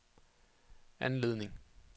anledning